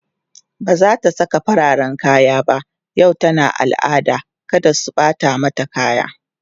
bazata Saka fararen kaya ba yau tana al'ada kada su Bata mata kaya